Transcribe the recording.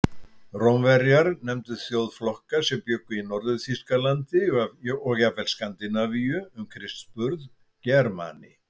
Rómverjar nefndu þjóðflokka sem bjuggu í Norður-Þýskalandi og jafnvel Skandinavíu um Krists burð Germani.